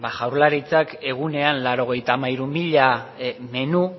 jaurlaritzak egunean laurogeita hamairu mila menu